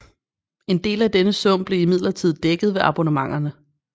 En del af denne sum blev imidlertid dækket ved abonnementerne